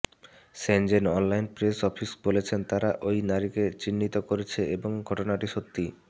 Shenzhen online press office বলেছেন তারা ওই নারীকে চিহ্নিত করেছে এবং ঘটনাটি সত্যি